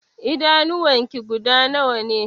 Idanuwan ki guda nawa ne?